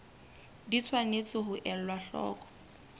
di tshwanetse ho elwa hloko